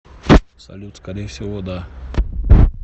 салют скорее всего да